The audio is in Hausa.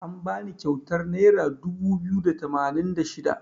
An bani kyautar naira dubu biyu da tamanin da shida.